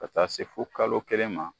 Ka taa se fo kalo kelen ma